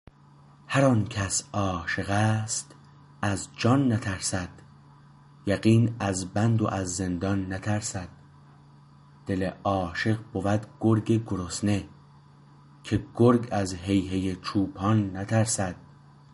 هر آن کس عاشق است از جان نترسد یقین از بند و از زندان نترسد دل عاشق بود گرگ گرسنه که گرگ از هی هی چوپان نترسد